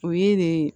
O ye ne